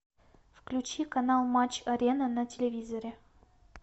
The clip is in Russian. включи канал матч арена на телевизоре